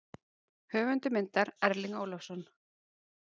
Höfundur myndar: Erling Ólafsson.